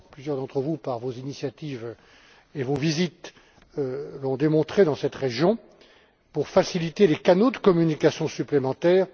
Plusieurs d'entre vous, par vos initiatives et vos visites, l'ont démontré dans cette région pour faciliter les canaux de communication supplémentaires.